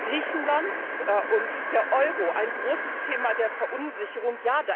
Griechenland und der Euro ein großes Thema der Verunsicherung.